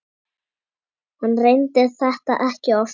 Hann reyndi þetta ekki oftar.